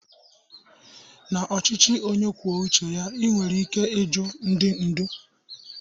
na ochichi onye kwuo uche ya, i nwere ikike ịjụ ndi ndu